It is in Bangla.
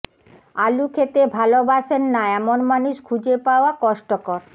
আলু খেতে ভালবাসেন না এমন মানুষ খুঁজে পাওয়া কষ্টকর